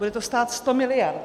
Bude to stát sto miliard.